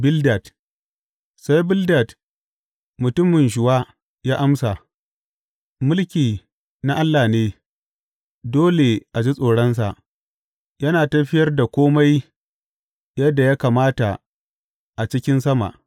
Bildad Sai Bildad mutumin Shuwa ya amsa, Mulki na Allah ne, dole a ji tsoronsa; yana tafiyar da kome yadda ya kamata a cikin sama.